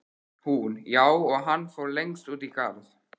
Hún: Já, og hann fór lengst út í garð.